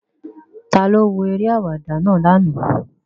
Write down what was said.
Taló wo eré àwàdà náà ní àná?